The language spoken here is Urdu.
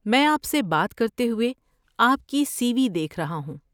میں آپ سے بات کرتے ہوئے آپ کی سی وی دیکھ رہا ہوں۔